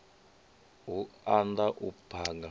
hu u da u phaga